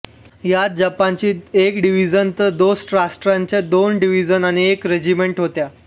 यात जपान्यांची एक डिव्हिजन तर दोस्त राष्ट्रांच्या दोन डिव्हिजन आणि एक रेजिमेंट होत्या